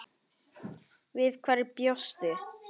Við hverju bjóstu?